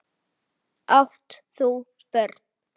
Átt þú börn?